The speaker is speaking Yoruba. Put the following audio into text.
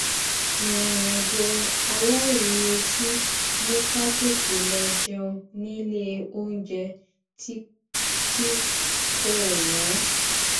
ìrìnàjò aláìretí mú ká tètè lọ jẹun ní ilé oúnjẹ tí tí kò wón